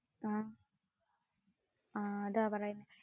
ആഹ് അതാ പറയുന്നേ